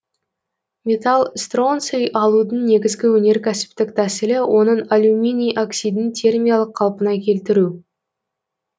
металл стронций алудың негізгі өнеркәсіптік тәсілі оның алюминий оксидін термиялық қалпына келтіру